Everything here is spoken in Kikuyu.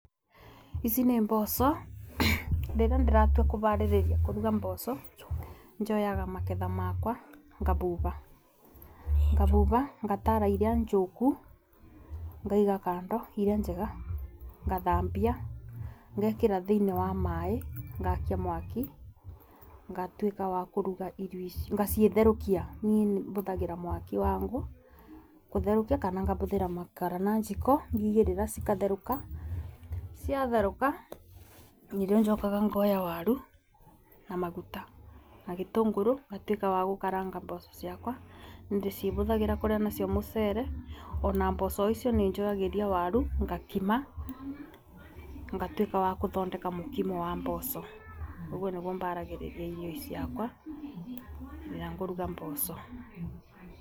Ici nĩ mboco rĩrĩa ndiratua kũbaririria kũruga mboco, njoyaga maketha makwa ngabuba, ngabuba ngatara iria njũku ngaiga kando iria njega ngathambia ngekĩra thĩinĩ wa maaĩ ngakia mwaki, ngatuĩka wa kũruga irio ici ngacitherũkia. Niĩ nĩ bũthagĩra mwaki wa ngũ kutherũkia kana ngabũthĩra makara na njiko ngaigĩrĩra cikatheruka. Ciatherũka nĩrĩo njokaga ngoya waru na maguta na gĩtũnũrũ ngatuika wa gukaranga mboco ciakwa. Ndĩcibũthagĩra kuria nacio mũcere, ona mboco icio nĩ njũagĩra waru ngakima ngatuĩka wa kuthondeka mũkimo wa mboco. Ũguo nĩguo baragĩriria irio ici ciakwa rĩrĩa ngũruga mboco.